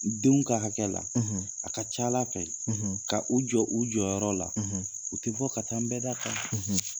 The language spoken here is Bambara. Denw ka hakɛ la a ka ca Ala fɛ ka u jɔ u jɔyɔrɔ la u tɛ bɔ ka taa nbɛda kan.